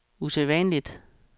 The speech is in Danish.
usædvanligt